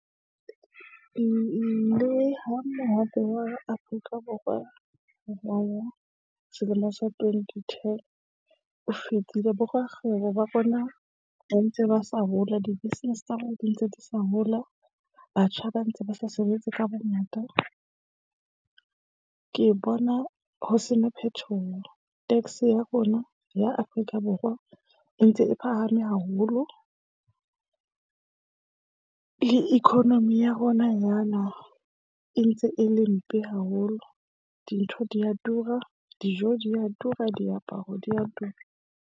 Le ha mohope wa Afrika Borwa selemo sa twenty ten o fetile, borakgwebo ba rona ba ntse ba sa hola, di-business tsa rona di ntse di sa hola. Batjha ba ntse ba sa sebetse ka bongata. Ke bona ho sena phethoho. Tax ya rona ya Afrika Borwa e ntse e phahame haholo. Le economy ya rona yana e ntse e le mpe haholo. Dintho di ya tura, dijo di ya tura, diaparo di ya tura.